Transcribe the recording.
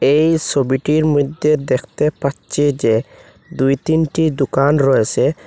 এই ছবিটির মইধ্যে দেখতে পাচ্ছে যে দুই তিনটি দোকান রয়েছে।